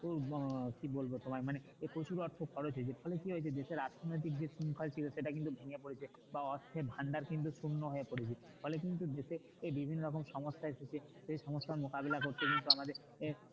আহ কি বলবো তোমায় মানে যে প্রচুর অর্থ খরচ হয়েছে তখন কি হয়েছে দেশের আর্থিক সেটা কিন্তু ভেঙে পড়েছে বা অর্থের ভান্ডার কিন্তু শুকনো হয়ে পড়েছে ফলে কিন্তু দেশে বিভিন্ন রকম সমস্যাই সে সমস্যার মুকাবিলা করতে কিন্তু আমাদের কে